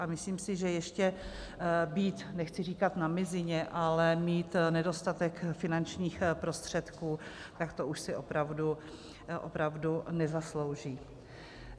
A myslím si, že ještě být - nechci říkat na mizině, ale mít nedostatek finančních prostředků, tak to už si opravdu nezaslouží.